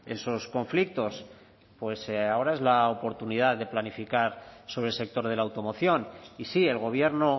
esos conflictos pues ahora es la oportunidad de planificar sobre el sector de la automoción y sí el gobierno